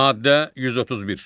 Maddə 131.